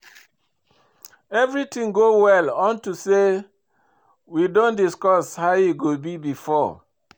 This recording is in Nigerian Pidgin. Everything go well unto say we don discuss how e go be before